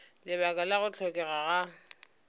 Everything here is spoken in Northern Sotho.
lebaka la go hlokega ga